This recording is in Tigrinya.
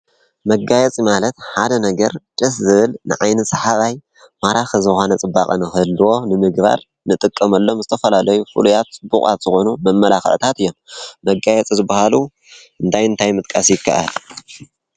መጋየፂ ማለት ሓደ ነገር ደስ ዝብል ንዓይኒ ሰሓባይ ማራኪ ዝኮነ ፅባቐ ንክህልዎ ንምግባር ንጥቀመሎም ዝትፈላለዩ ፉሉያት ፅቡቋት ዝኮኑ መመላኪዒታት እዮም፡፡ መጋየፂ ዝባሃሉ እንታይ እንታይ ምጥቃስ ይካኣል?